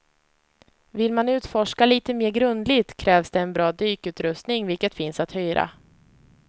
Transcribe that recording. Vill man utforska lite mer grundligt krävs det en bra dykutrustning vilket finns att hyra.